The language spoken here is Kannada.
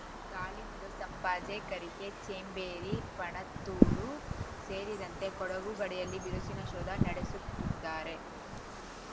ಗಾಳಿಬೀಡು ಸಂಪಾಜೆ ಕರಿಕೆ ಚೇಂಬೇರಿ ಪಣತ್ತೂರು ಸೇರಿದಂತೆ ಕೊಡಗು ಗಡಿಯಲ್ಲಿ ಬಿರುಸಿನ ಶೋಧ ನಡೆಸುತ್ತಿದ್ದಾರೆ